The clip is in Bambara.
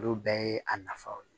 Olu bɛɛ ye a nafaw ye